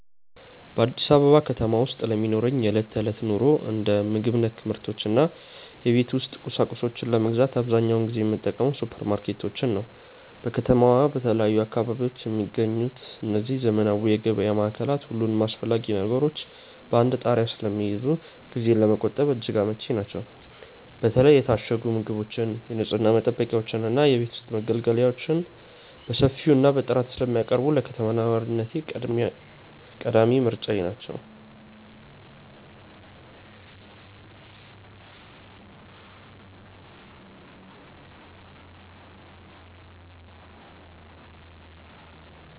በአዲስ አበባ ከተማ ውስጥ ለሚኖረኝ የዕለት ተዕለት ኑሮ፣ እንደ ምግብ ነክ ምርቶች እና የቤት ውስጥ ቁሳቁሶችን ለመግዛት አብዛኛውን ጊዜ የምጠቀመው ሱፐርማርኬቶችን ነው። በከተማዋ በተለያዩ አካባቢዎች የሚገኙት እነዚህ ዘመናዊ የገበያ ማዕከላት፣ ሁሉንም አስፈላጊ ነገሮች በአንድ ጣሪያ ስር ስለሚይዙ ጊዜን ለመቆጠብ እጅግ አመቺ ናቸው። በተለይ የታሸጉ ምግቦችን፣ የንፅህና መጠበቂያዎችን እና የቤት ውስጥ መገልገያዎችን በሰፊው እና በጥራት ስለሚያቀርቡ፣ ለከተማ ነዋሪነቴ ቀዳሚ ምርጫዬ ናቸው።